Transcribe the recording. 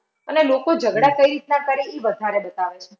અને લોકો ઝગડા કઈ રીતના કરે ઈ બતાવે છે.